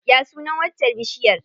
Ya sunan waccar bishiyar?